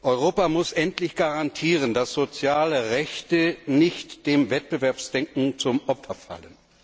Europa muss endlich garantieren, dass soziale Rechte nicht dem Wettbewerbsdenken zum Opfer fallen.